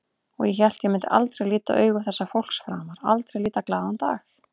Og ég hélt ég myndi aldrei líta augu þessa fólks framar, aldrei líta glaðan dag.